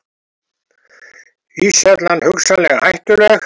Íshellan hugsanlega hættuleg